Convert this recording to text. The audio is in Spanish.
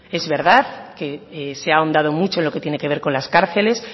es verdad que se ha ahondado mucho en lo que tiene que ver con las cárceles